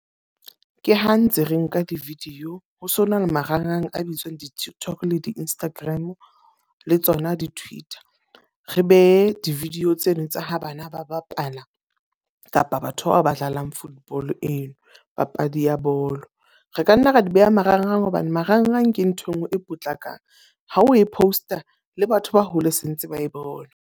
Ke ha ntse re nka di-video. Ho se ho na le marangrang a bitswang di-TikTok le di-Instagram, le tsona di-Twitter. Re behe di-video tseno tsa ha bana ba bapala kapa batho bao ba dlalang football eno. Papadi ya bolo. Re ka nna ra di beha marangrang hobane marangrang ke nthwe ngwe e potlakang. Ha o e post-a le batho ba hole se ntse ba e bona.